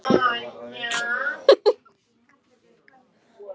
Ber líklega seint í þessum mánuði.